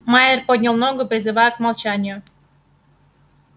майер поднял ногу призывая к молчанию